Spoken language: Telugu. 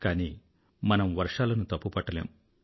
కానీ మనం వర్షాలను తప్పుపట్టలేము